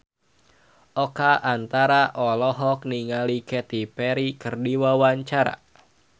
Oka Antara olohok ningali Katy Perry keur diwawancara